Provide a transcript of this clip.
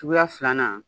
Suguya filanan